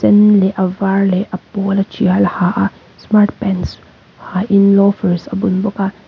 sen leh a var leh a pawl a tial a ha a smart pants ha in loafers a bun bawk a.